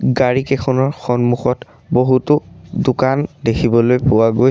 গাড়ীকেইখনৰ সন্মুখত বহুতো দোকান দেখিবলৈ পোৱা গৈছ--